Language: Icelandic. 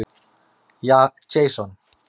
Jason